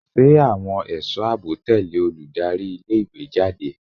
Ṣé àwọn ẹ̀sọ́ àbò tẹ̀lẹ́ olùdarí ilé ìwé jáde?